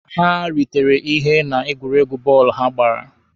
Ha ritere ihe na egwuregwu bọọlụ ha gbara.